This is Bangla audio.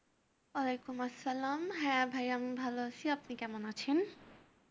ওয়ালাইকুম আসসালাম হ্যাঁ ভাইয়া আমি ভালো আছি, আপনি কেমন আছেন?